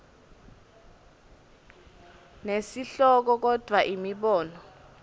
nesihloko kodvwa imibono